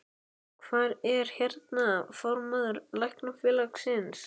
Hvar er, hérna, formaður Læknafélagsins?